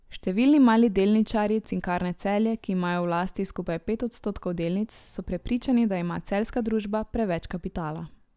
Številni mali delničarji Cinkarne Celje, ki imajo v lasti skupaj pet odstotkov delnic, so prepričani, da ima celjska družba preveč kapitala.